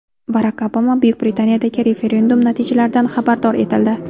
Barak Obama Buyuk Britaniyadagi referendum natijalaridan xabardor etildi.